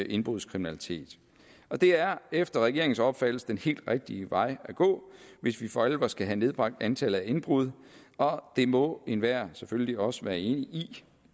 indbrudskriminalitet det er efter regeringens opfattelse den helt rigtige vej at gå hvis vi for alvor skal have nedbragt antallet af indbrud og det må enhver selvfølgelig også være enig